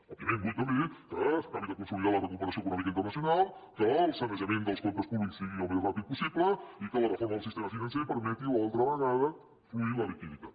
òbviament vull també que s’acabi de consolidar la recuperació econòmica internacional que el sanejament dels comptes públics sigui al més ràpid possible i que la reforma del sistema financer permeti una altra vegada fluir la liquiditat